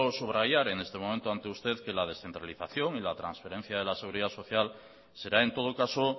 subrayar en este momento ante usted que la descentralización y la transferencia de la seguridad social será en todo caso